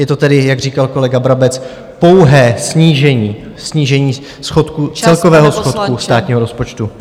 Je to tedy, jak říkal kolega Brabec, pouhé snížení celkového schodku státního rozpočtu.